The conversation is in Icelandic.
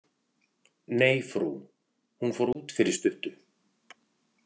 Nei, frú, hún fór út fyrir stuttu.